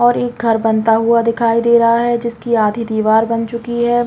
और एक घर बनता हुआ दिखये दे रहा है जिसकी आधी दिवार बन चुकी है।